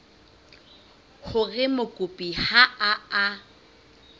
hore mokopi ha a a